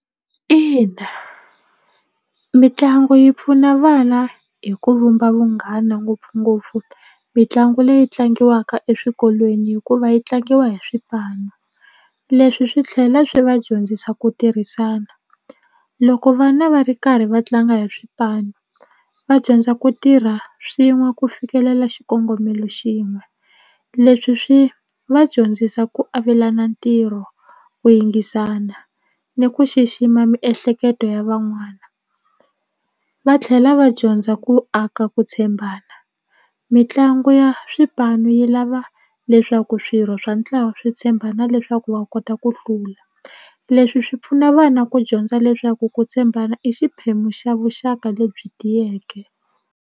Ina mitlangu yi pfuna vana hi ku vumba vunghana ngopfungopfu mitlangu leyi tlangiwaka eswikolweni hikuva yi tlangiwa hi swipanu leswi swi tlhela swi va dyondzisa ku tirhisana loko vana va ri karhi va tlanga hi swipanu va dyondza ku tirha swin'we ku fikelela xikongomelo xin'we leswi swi va dyondzisa ku avelana ntirho ku yingisana ni ku xixima miehleketo ya van'wana va tlhela va dyondza ku aka ku tshembana mitlangu ya swipanu yi lava leswaku swirho swa ntlawa swi tshembana leswaku va kota ku hlula leswi swi pfuna vana ku dyondza leswaku ku tshembana i xiphemu xa vuxaka lebyi tiyeke.